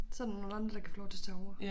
Så der nogle andre der kan få lov til at tage over